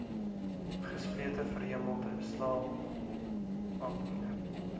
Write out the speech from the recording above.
gesplete verhemelte slaapapnee